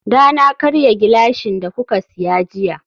dana karya gilashin da kuka siya jiya